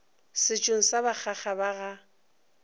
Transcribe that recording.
setšong sa bakgaga ba ga